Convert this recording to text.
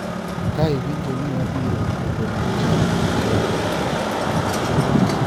Ka iwinjo ni wabiro to gol jochadi oko.